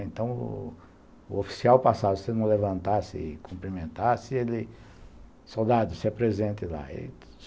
Então, o oficial passava, se você não levantasse e cumprimentasse, ele... Soldado, se apresente lá.